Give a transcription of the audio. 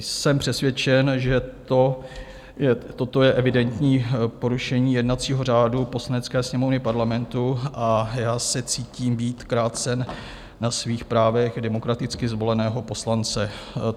Jsem přesvědčen, že toto je evidentní porušení jednacího řádu Poslanecké sněmovny Parlamentu, a já se cítím být krácen na svých právech demokraticky zvoleného poslance.